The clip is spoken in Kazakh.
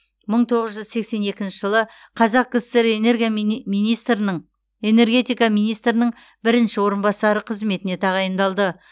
мың тоғыз жүз сексен екінші жылы қазақ кср энергия мини министрінің энергетика министрінің бірінші орынбасары қызметіне тағайындалды